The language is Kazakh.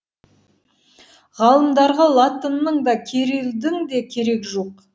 ғалымдарға латынның да кирилдің де керегі жоқ